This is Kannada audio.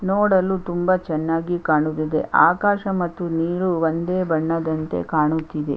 ನೋಡಲು ತುಂಬಾ ಚೆನ್ನಾಗಿ ಕಾಣುತ್ತಿದೆ ಆಕಾಶ ಮತ್ತು ನೀರು ಒಂದೇ ಬಣ್ಣದಂತೆ ಕಾಣುತ್ತಿದೆ.